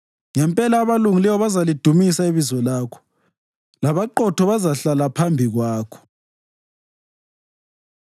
Ngempela abalungileyo bazalidumisa ibizo lakho labaqotho bazahlala phambi kwakho.